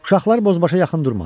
Uşaqlar bozbaşa yaxın durmadılar.